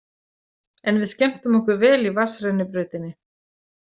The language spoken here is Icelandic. En við skemmtum okkur vel í vatnsrennibrautinni.